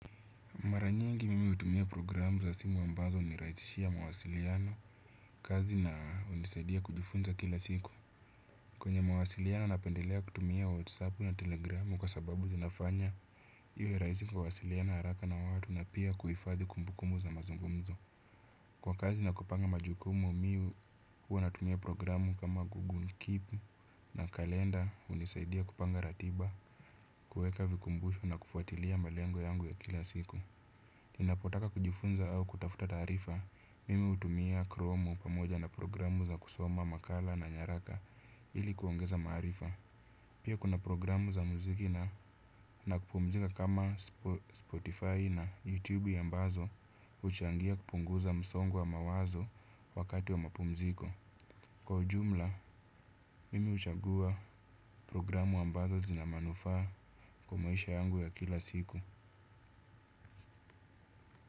Mara nyingi mimi hutumia programu za simu ambazo hunirahisishia mawasiliano, kazi na hunisaidia kujifunza kila siku. Kwenye mawasiliano napendelea kutumia whatsapp na telegramu kwa sababu zinafanya iwe rahisi kuwasiliana haraka na watu na pia kuhifadhi kumbukumbu za mazungumzo. Kwa kazi na kupanga majukumu, mimi huwa natumia programu kama google keep na kalenda hunisaidia kupanga ratiba, kuweka vikumbusho na kufuatilia malengo yangu ya kila siku. Ninapotaka kujifunza au kutafuta taarifa, mimi hutumia kromu pamoja na programu za kusoma makala na nyaraka ili kuongeza maarifa. Pia kuna programu za muziki na kupumzika kama Spotify na YouTube ambazo huchangia kupunguza msongo wa mawazo wakati wa mapumziko. Kwa ujumla, mimi huchagua programu ambazo zina manufaa kwa maisha yangu ya kila siku.